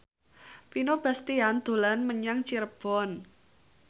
Vino Bastian dolan menyang Cirebon